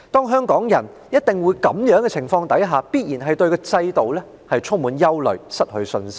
香港人在這樣的情況下，必然會對制度充滿憂慮，失去信心。